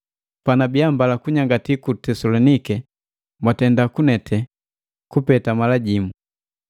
Panabiya mbala kunyangatii ku Tesaloniki mwandenda kunete, kupeta mala jimu.